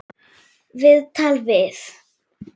Viðtal við